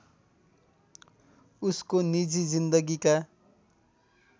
उसको निजी जिन्दगीका